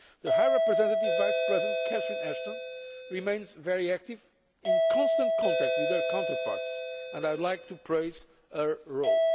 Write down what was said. High Representative Vice President Catherine Ashton remains very active and is in constant contact with her counterparts, and I would like to praise her role.